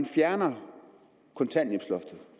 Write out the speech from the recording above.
fjerner kontanthjælpsloftet